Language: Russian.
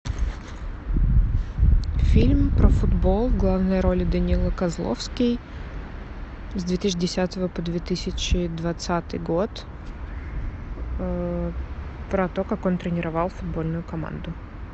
фильм про футбол в главной роли данила козловский с две тысячи десятого по две тысячи двадцатый год про то как он тренировал футбольную команду